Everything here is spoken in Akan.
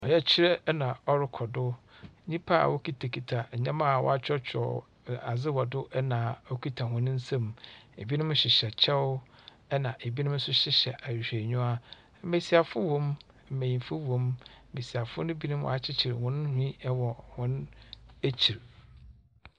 Ɔyɛkyerɛ na ɔrokɔ do. Nyimpa a wokitsakitsa ndzɛmba a wɔakyerɛkyerɛw nn adze wɔ do na okitsa hɔn nsa. Binom hyehyɛ kyɛw na binom so hyehyɛ ahwehwɛniwa. Mbasiafo wɔ mu, mbanyin so wɔ mu. Mbasiafo no binom akyekyer hɔn nhwi wɔ hɔn ekyir.